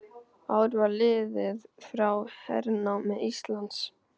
Ár var liðið frá hernámi Íslands.